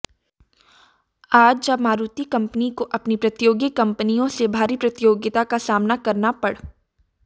आज जब मारुति कंपनी को अपनी प्रतियोगी कंपनियों से भारी प्रतियोगिता का सामना करना पड़